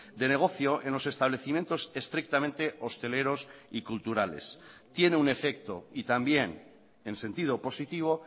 de negocio en los establecimientos estrictamente hosteleros y culturales tiene un efecto y también en sentido positivo